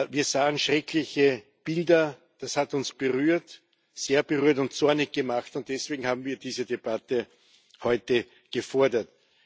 Wir sahen schreckliche Bilder. Das hat uns sehr berührt und zornig gemacht, und deswegen haben wir diese Debatte heute gefordert.